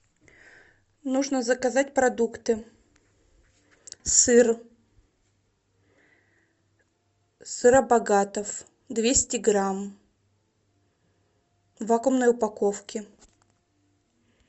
нужно заказать продукты сыр сыробогатов двести грамм в вакуумной упаковке